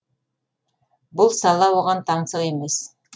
бұл сала оған таңсық емес